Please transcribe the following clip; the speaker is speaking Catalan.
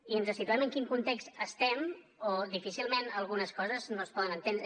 i ens situem en quin context estem o difícilment algunes coses no es poden entendre